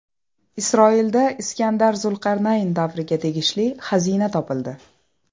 Isroilda Iskandar Zulqarnayn davriga tegishli xazina topildi.